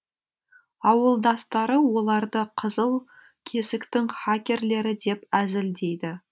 ауылдастары оларды қызыл кесіктің хакерлері деп әзілдейді